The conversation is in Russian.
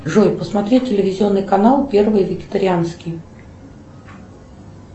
джой посмотри телевизионный канал первый вегетарианский